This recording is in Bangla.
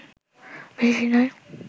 বেশি নয়